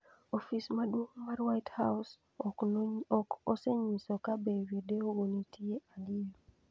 Ofis maduong ' mar White House ok osenyiso ka be videogo ne nitie adier.